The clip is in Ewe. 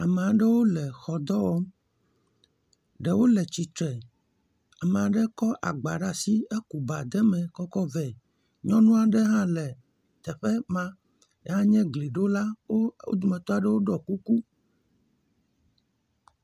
Ame aɖewo le xɔ dɔ wɔm, ɖewo le tsitre, ame aɖe kɔ agba ɖe asi eku kɔ ɖe eme vɛ, nyɔnu aɖe hã le teƒe ma hã nye gliɖola, wo dometɔ aɖewo ɖɔ kuku.